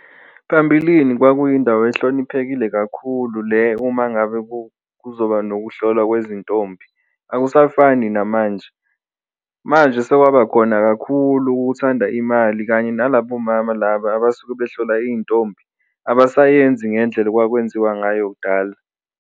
Phambilini kwakuyindawo ehloniphekile kakhulu le uma ngabe kuzoba nokuhlolwa kwezintombi akusafani namanje, manje sekwaba khona kakhulu ukuthanda imali kanye nalaba omama laba abasuke behlola iy'ntombi abasayenzi ngendlela okwakwenziwa ngayo kudala.